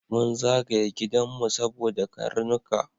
Mun zagaye gidanmu saboda karnuka.